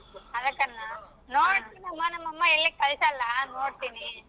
ಅದಕ್ಕನ್ನ ನೋಡತಿ ನಮ್ಮ ನಮ್ಮಮ್ಮ ಎಲ್ಲಿ ಕಳಸಲ್ಲಾ ನೋಡ್ತೀನಿ.